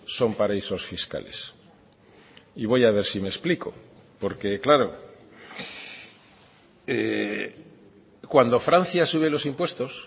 son paraísos fiscales y voy a ver si me explico porque claro cuando francia sube los impuestos